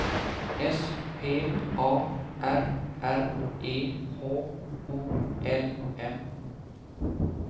S P A R R E H O L M